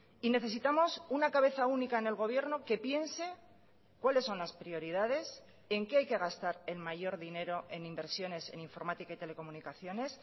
y necesitamos una cabeza única en el gobierno que piense cuáles son las prioridades en qué hay que gastar en mayor dinero en inversiones en informática y telecomunicaciones